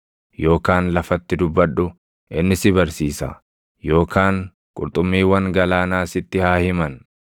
yookaan lafatti dubbadhu; inni si barsiisa; yookaan qurxummiiwwan galaanaa sitti haa himan.